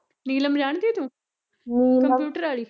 ਨੀਲਮ ਜਾਣਦੀ ਐ ਤੂੰ ਕੰਪਿਊਟਰ ਆਲੀ